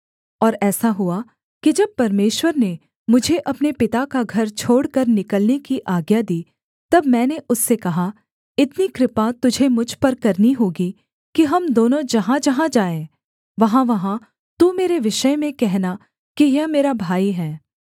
और ऐसा हुआ कि जब परमेश्वर ने मुझे अपने पिता का घर छोड़कर निकलने की आज्ञा दी तब मैंने उससे कहा इतनी कृपा तुझे मुझ पर करनी होगी कि हम दोनों जहाँजहाँ जाएँ वहाँवहाँ तू मेरे विषय में कहना कि यह मेरा भाई है